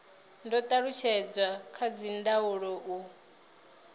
do talutshedzwa kha dzindaulo u